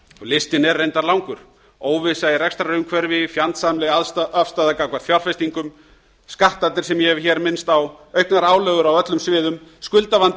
listinn er reyndar langur óvissa í rekstrarumhverfi fjandsamleg afstaða gagnvart fjárfestingum skattarnir sem ég hef hér minnst á auknar álögur á öllum sviðum skuldavandi